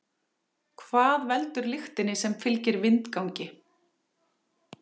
Hvað veldur lyktinni sem fylgir vindgangi?